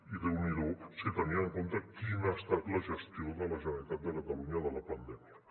i déu n’hi do si tenim en compte quina ha estat la gestió de la generalitat de catalunya de la pandèmia